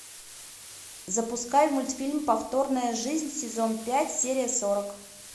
запускай мультфильм повторная жизнь сезон пять серия сорок